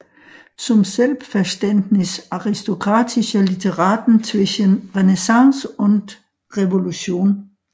Zum Selbstverständnis aristokratischer Literaten zwischen Renaissance und Revolution